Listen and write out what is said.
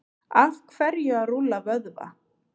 af hverju að rúlla vöðva